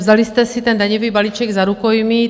Vzali jste si ten daňový balíček za rukojmí.